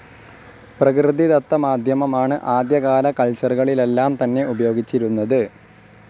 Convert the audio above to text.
പ്രകൃതിദത്ത മാധ്യമമാണ് ആദ്യകാല കൾച്ചറുകളിലെല്ലാം തന്നെ ഉപയോഗിച്ചിരുന്നത്.